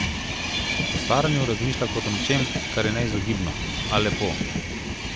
O staranju razmišlja kot o nečem, kar je neizogibno, a lepo.